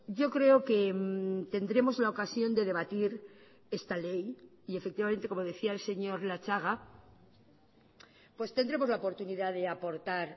yo creo que tendremos la ocasión de debatir esta ley y efectivamente como decía el señor latxaga pues tendremos la oportunidad de aportar